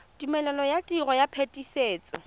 tumelelo ya tiro ya phetisetso